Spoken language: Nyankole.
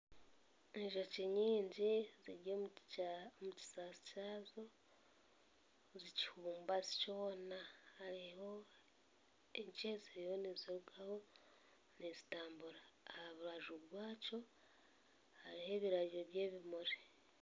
Enjoki nyingi ziri omu kisasi kyazo, zikifumbasi kyona. Hariho enkye eziriyo nizirugaho nizitambura. Aha rubaju rwakyo hariho ebirabyo by'ebimuri.